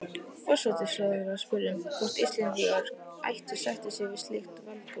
Forsætisráðherra spurði, hvort Íslendingar ættu að sætta sig við slíkt valdboð